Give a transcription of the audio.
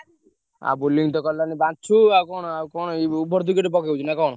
ଆଉ bowling ତ କଲାଣି ବାଞ୍ଛୁ ଆଉ କଣ କଣ ଏଇ over ।